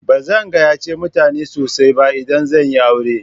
Ba zan gayyace mutane sosai ba idan zan yi aure.